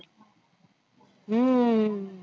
हम्म